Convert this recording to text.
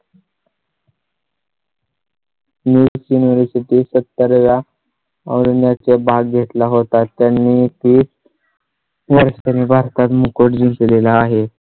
new university सत्तर या अरण्या चे भाग घेतला होता त्यांनी ती . वर्षांनी भारतात record केले ला आहे